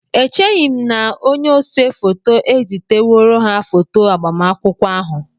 Echeghị m na onye ose foto eziteworo ha foto agbamakwụkwọ ahụ